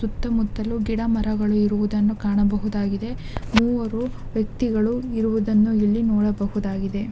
ಸುತ್ತು ಮುಟ್ಟಲು ಗಿಡ ಮರಗಳ್ಳನು ಇರುವುದನ್ನು ಕಾಣಬಹುದಾಗಿದೆ ಮೂವರು ವೆಕ್ತಿಗಳು ಇರುವುದನ್ನ ಇಲ್ಲಿ ನೋಡ ಬಹುದಾಗಿದೆ .